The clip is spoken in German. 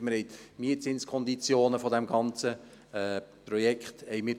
Das heisst, wir haben die Mietzinskonditionen des ganzen Projekts überprüft.